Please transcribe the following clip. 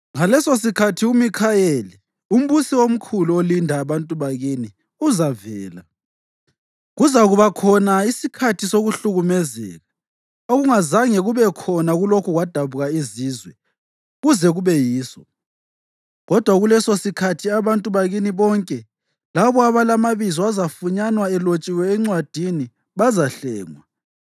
“Ngalesosikhathi uMikhayeli, umbusi omkhulu olinda abantu bakini, uzavela. Kuzakuba khona isikhathi sokuhlukumezeka okungazange kube khona kulokhu kwadabuka izizwe kuze kube yiso. Kodwa kulesosikhathi abantu bakini bonke labo abalamabizo azafunyanwa elotshiwe encwadini bazahlengwa.